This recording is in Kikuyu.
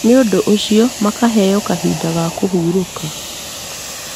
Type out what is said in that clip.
nĩũndũ ũcio makaheo kahinda ga kũhurũka